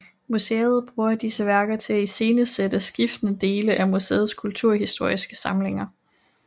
Museet bruger disse værker til at iscenesætte skiftende dele af museets kulturhistoriske samlinger